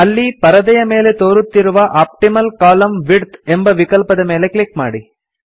ಅಲ್ಲಿ ಪರದೆಯ ಮೇಲೆ ತೋರುತ್ತಿರುವ ಆಪ್ಟಿಮಲ್ ಕಾಲಮ್ನ ವಿಡ್ತ್ ಎಂಬ ವಿಕಲ್ಪದ ಮೇಲೆ ಕ್ಲಿಕ್ ಮಾಡಿ